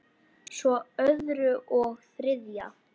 Svo öðru og þriðja.